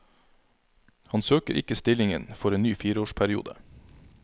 Han søker ikke stillingen for en ny fireårsperiode.